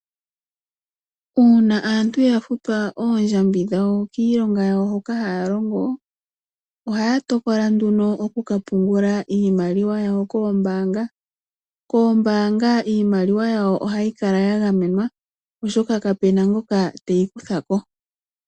Uuna aantu ya futwa ondjambi dhawo kiilonga yawo hoka haya longo, ohaya tokola nduno okunka pungula iimaliwa yawo koombaanga. Koombaanga iimaliwa yawo ohayi kala ya gamenwa oshoka kapu na ngoka teyi kutya ko.